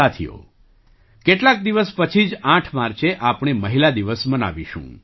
સાથીઓ કેટલાક દિવસ પછી જ માર્ચે આપણે મહિલા દિવસ મનાવીશું